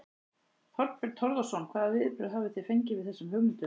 Þorbjörn Þórðarson: Hvaða viðbrögð hafið þið fengið við þessum hugmyndum?